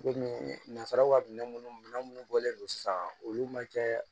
Komi nanzaraw ka minɛn minnu minɛ minnu bɔlen don sisan olu man kɛ